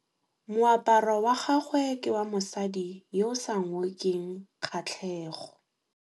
Moaparô wa gagwe ke wa mosadi yo o sa ngôkeng kgatlhegô.